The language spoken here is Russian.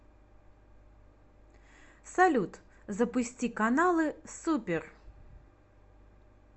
салют запусти каналы супер